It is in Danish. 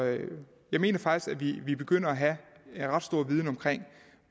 jeg mener faktisk at vi begynder at have en ret stor viden om